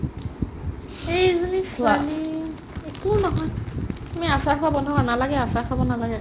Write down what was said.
এইজনী ছোৱালী একো নহয় তুমি আচাৰ খোৱা বন্ধ কৰা নালাগে আচাৰ খাব নালাগে